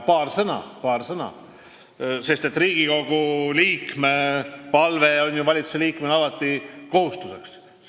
Kuid paar sõna, sest Riigikogu liikme palve on ju valitsusliikmele alati kohustuseks.